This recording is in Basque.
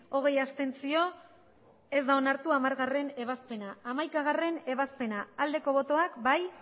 hogei abstentzio ez da onartu hamargarrena ebazpena hamaikagarrena ebazpena aldeko botoak